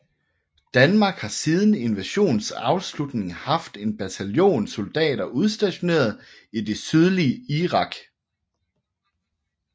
Danmark har siden invasionens afslutning haft en bataljon soldater udstationeret i det sydlige Irak